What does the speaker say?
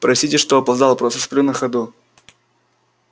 простите что опоздал просто сплю на ходу